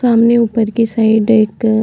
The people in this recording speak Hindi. तो हमने ऊपर की साइड एक --